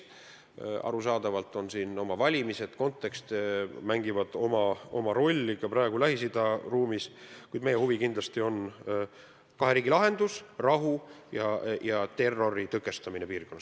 Arusaadavalt on siin mängus valimised, kontekst mängib oma rolli ka Lähis-Ida ruumis, kuid meie huvi kindlasti on kahe riigi lahendus, rahu, samuti terrori tõkestamine piirkonnas.